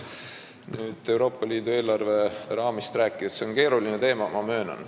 Kui Euroopa Liidu eelarve raamist rääkida, siis ma möönan, et see on keeruline teema.